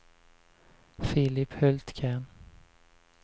Filip Hultgren